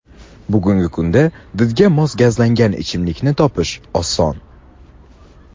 Bugungi kunda didga mos gazlangan ichimlikni topish oson.